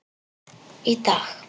Í dag.